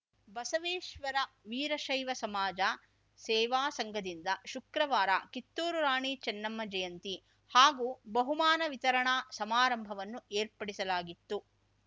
ಬಸವೇಶ್ವರ ವೀರಶೈವ ಸಮಾಜ ಸೇವಾ ಸಂಘದಿಂದ ಶುಕ್ರವಾರ ಕಿತ್ತೂರು ರಾಣಿ ಚೆನ್ನಮ್ಮ ಜಯಂತಿ ಹಾಗೂ ಬಹುಮಾನ ವಿತರಣಾ ಸಮಾರಂಭವನ್ನು ಏರ್ಪಡಿಸಲಾಗಿತ್ತು